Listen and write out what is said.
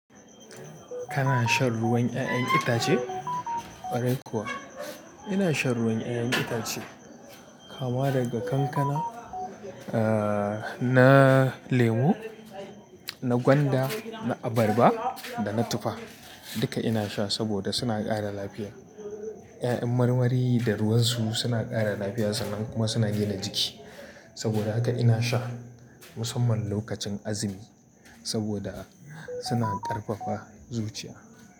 Kana shan ruwan 'ya'yan itace? Ƙwarai kuwa, ina shan ruwan 'ya'yan itace kama daga kankana, ahhh, na lemu, na gwanda, na abarba da na tufa. Duka ina sha saboda suna ƙara lafiya. 'Ya'yan marmari da ruwan su suna ƙara lafiya sannan kuma suna gina jiki. Saboda haka ina sha musamman lokacin azumi saboda suna ƙarfafa zuciya.